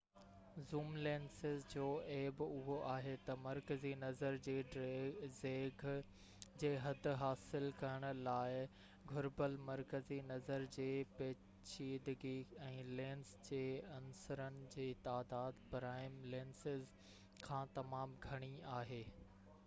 zoom lenses جو عيب اهو آهي تہ مرڪزي نظر جي ڊيگهہ جي حد حاصل ڪرڻ لاءِ گهربل مرڪزي نظر جي پيچيدگي ۽ لينس جي عنصرن جي تعداد پرائم لينسز کان تمام گهڻي آهي